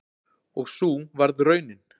Og sú varð raunin.